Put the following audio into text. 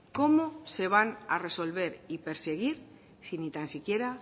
cómo se van a resolver y perseguir si ni tan siquiera